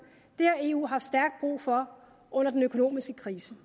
har eu haft stærkt brug for under den økonomiske krise